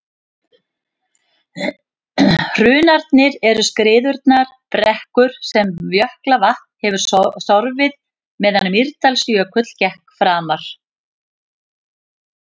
hrunarnir eru skriðurunnar brekkur sem jökulvatn hefur sorfið meðan mýrdalsjökull gekk framar